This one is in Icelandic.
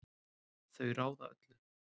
Þau ráða öllu.